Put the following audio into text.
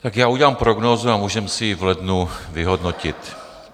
Tak já udělám prognózu a můžeme si ji v lednu vyhodnotit.